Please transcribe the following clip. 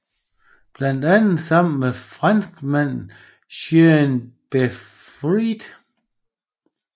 Blandt andet sammen med franskmanden Jean Beaufret